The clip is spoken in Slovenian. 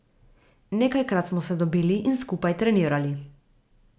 Nekajkrat smo se dobili in skupaj trenirali.